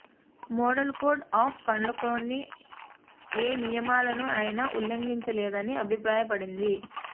model code of కండక్ట్లోని ఏ నియమాలను ఆయన ఉల్లంఘించలేదని అభిప్రాయపడింది